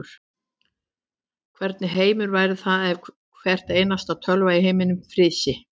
Hvernig heimur væri það ef hvar einasta tölva í heiminum frysi.